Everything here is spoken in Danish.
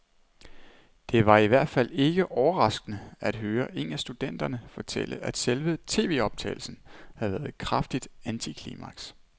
Det var i hvert fald ikke overraskende at høre en af studenterne fortælle, at selve tvoptagelsen havde været et kraftigt antiklimaks.